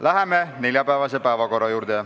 Läheme neljapäevase päevakorra juurde.